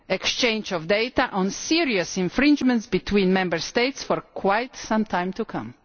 exchange of data on serious infringements between Member States for quite some time to come.